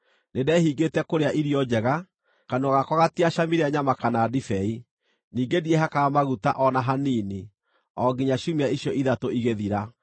Nĩndehingĩte kũrĩa irio njega; kanua gakwa gatiacamire nyama kana ndibei; ningĩ ndiehakaga maguta o na hanini, o nginya ciumia icio ithatũ igĩthira.